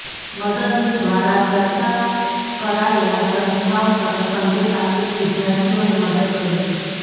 મદદનીશ દ્વારા ચર્ચા કરાયેલા સંસ્થાઓ તરફ સંકેત આપીને વિદ્યાર્થીઓને મદદ કરી